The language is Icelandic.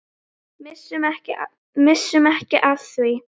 Missum ekki af því.